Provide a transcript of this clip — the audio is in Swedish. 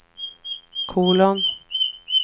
kolon